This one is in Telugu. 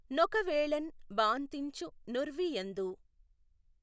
నొకవేళఁ బాఁతించు నుర్వి యందు